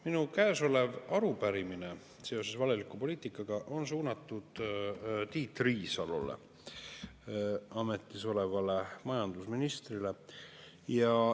Minu käes olev arupärimine seoses valeliku poliitikaga on suunatud Tiit Riisalole, ametis olevale majandusministrile.